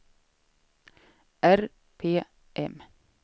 RPM